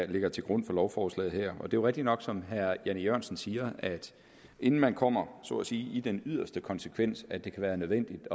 ligger til grund for lovforslaget her det jo rigtigt nok som herre jan e jørgensen siger at inden man kommer ud så at sige den yderste konsekvens hvor det kan være nødvendigt at